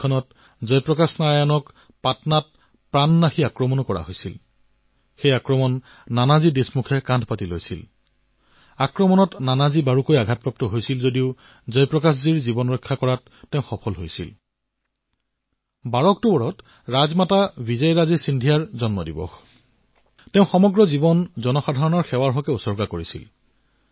এই ১২ অক্টোবৰ তাৰিখে ৰাজমাতা বিজয়ৰাজে সিন্ধিয়াৰো জয়ন্তী যিয়ে তেওঁৰ সমগ্ৰ জীৱন জনতাৰ সেৱাত সমৰ্পিত কৰিছিল